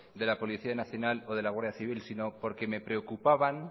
de la policía nacional y de la guardia civil sino porque me preocupaban